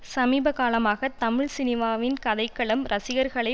சமீபகாலமாக தமிழ் சினிமாவின் கதைக்களம் ரசிகர்களை